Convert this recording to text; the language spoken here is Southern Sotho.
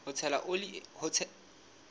ho tshela oli e ntjha